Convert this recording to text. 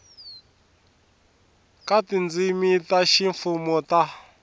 ka tindzimi ta ximfumo ta